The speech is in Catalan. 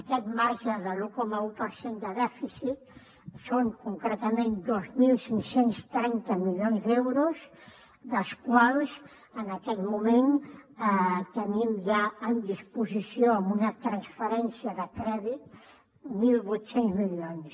aquest marge de l’un coma un per cent de dèficit són concretament dos mil cinc cents i trenta milions d’euros dels quals en aquest moment tenim ja en disposició amb una transferència de crèdit mil vuit cents milions